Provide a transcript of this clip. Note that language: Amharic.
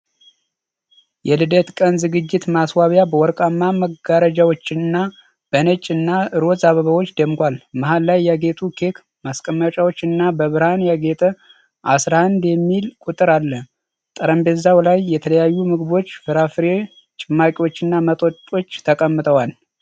የልደት ቀን ዝግጅት ማስዋቢያ በወርቃማ መጋረጃዎችና በነጭ እና ሮዝ አበባዎች ደምቋል። መሀል ላይ ያጌጡ ኬክ ማስቀመጫዎች እና በብርሃን ያጌጠ '11' የሚል ቁጥር አለ። ጠረጴዛው ላይ የተለያዩ ምግቦች፣ የፍራፍሬ ጭማቂዎችና መጠጦች ተቀምጠዋል።